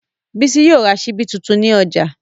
Bísí yóò ra ṣíbí tuntun ní ọjà